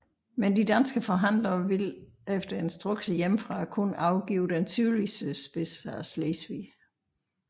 Men de danske forhandlere ville efter instrukser hjemmefra kun afgive den sydligste spids af Slesvig